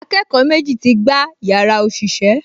Akẹ́kọ̀ọ́ méjì ti gbá yàrá òṣìṣẹ́